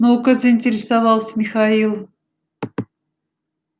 ну-ка заинтересовался михаил